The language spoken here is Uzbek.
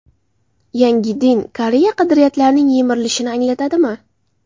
Yangi din Koreya qadriyatlarining yemirilishini anglatadi mi?